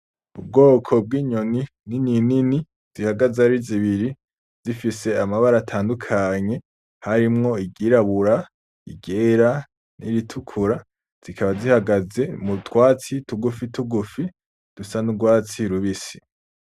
Ubwoko bw'inyoni ninini zihagaze ari zibiri zifise amabara atandukanye harimwo iryirabura, iryera n'iritukura zikaba zihagaze mu twatsi tugufi tugufi dusa n'urwatsi rubisi.